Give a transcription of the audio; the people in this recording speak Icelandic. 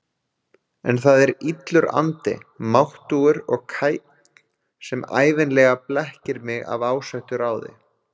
En það er illur andi, máttugur og kænn, sem ævinlega blekkir mig af ásettu ráði.